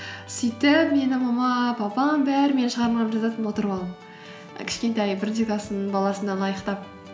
сөйтіп менің мамам папам бәрі менің шығармамды жазатын отырып алып кішкентай бірінші класстың баласына лайықтап